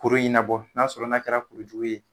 Kuru in nabɔ n'a sɔrɔ n'a kɛra kurujugu ye